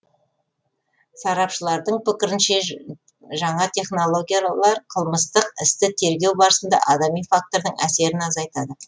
сарапшылардың пікірінше жаңа технологиялар қылмыстық істі тергеу барысында адами фактордың әсерін азайтады